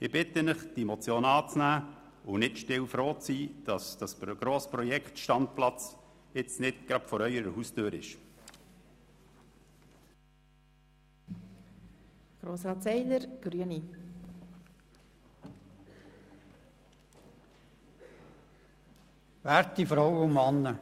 Ich bitte Sie, diese Motion anzunehmen und still froh zu sein, dass das grosse Projekt Standplatz nicht vor Ihrer Haustüre zustande kommt.